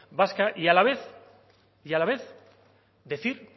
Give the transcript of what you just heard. vasca y a la vez decir